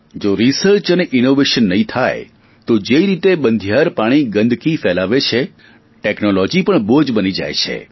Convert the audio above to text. જો રિસર્ચ અને ઇનોવેશન નહીં થાય તો જે રીતે બંધિયાર પાણી ગંદકી ફેલાવે છે ટેકનોલોજી પણ બોજ બની જાય છે